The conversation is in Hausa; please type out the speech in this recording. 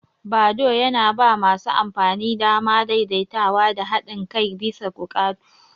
Badoo yana ba masu amfani damar daidaitawa da haɗin kai bisa buƙatu.